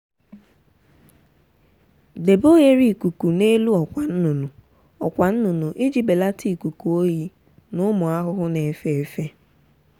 debe oghere ikuku n’elu ọkwa nnụnụ ọkwa nnụnụ iji belata ikuku oyi na ụmụ ahụhụ na-efe efe.